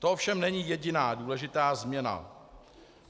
To ovšem není jediná důležitá změna.